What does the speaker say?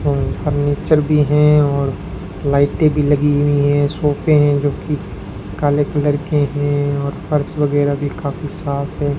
और फर्नीचर भी हैं और लाइटें भी लगी हुई हैं सोफे हैं जोकि काले कलर के हैं और फर्श वगैरा भी काफी साफ है।